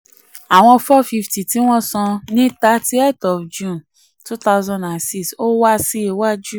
18. àwọn 450 tí wọ́n san thirtieth of june two thousand and six ò ò wà síwájú.